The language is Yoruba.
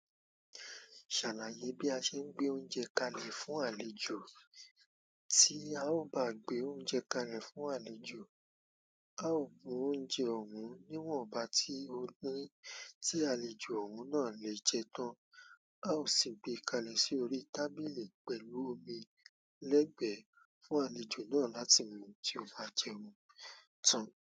Ṣàlàyé bí a ṣe ń gbé oúnjẹ kalẹ̀ fún àlejò. Tí a ò bá gbé oúnjẹ kalẹ̀ fún àlejò, a ó gún oúnjẹ òun níwọ̀nba tí ó ní tí àlejò òun náà lè jẹ tán. A ó sì gbé e kalẹ̀ sí orí tábìlì pẹ̀lú omi lẹ́gbẹ̀ẹ́ fún àlejò náà láti mu tí ó bá jẹun tán.